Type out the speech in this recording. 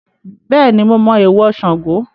Bẹ́ẹ̀ni mo mọ èèwọ̀ Sango